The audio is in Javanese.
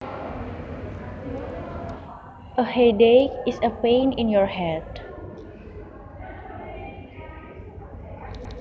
A headache is a pain in your head